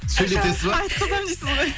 сөйлетесіз ба айтқызамын дейсіз ғой